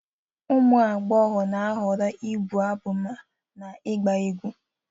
ụmụ agbọghọ na-ahọrọ ịbụ abụ na ịgba egwu